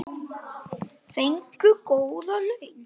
Fengum góð laun.